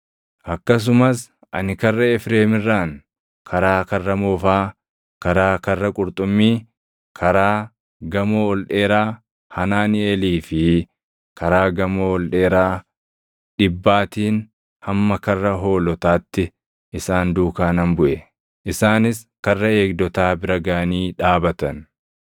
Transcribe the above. akkasumas ani Karra Efreem irraan, karaa Karra Moofaa, karaa Karra Qurxummii, karaa Gamoo ol dheeraa Hanaaniʼeelii fi Karaa Gamoo ol dheeraa Dhibbaatiin hamma Karra Hoolotaatti isaan duukaa nan buʼe. Isaanis Karra Eegdotaa bira gaʼanii dhaabatan.